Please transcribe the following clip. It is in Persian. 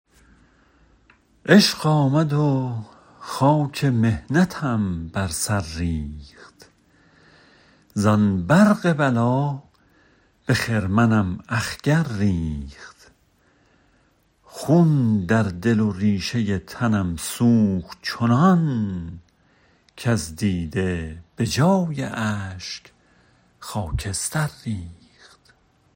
عشق آمد و خاک محنتم بر سر ریخت زان برق بلا به خرمنم اخگر ریخت خون در دل و ریشه تنم سوخت چنان کز دیده به جای اشک خاکستر ریخت